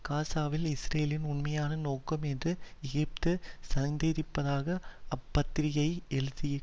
காசாவில் இஸ்ரேலின் உண்மையான நோக்கம் என்று எகிப்து சந்தேகிப்பதாக அப்பத்திரிக்கை எழுதியி